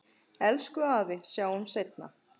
Elsku afi, sjáumst seinna.